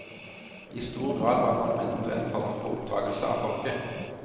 I stor grad var monumenter en form for oppdragelse av folket.